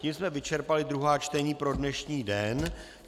Tím jsme vyčerpali druhá čtení pro dnešní den.